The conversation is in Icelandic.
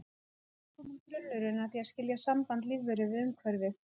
Hér er kominn grunnurinn að því að skilja samband lífveru við umhverfið.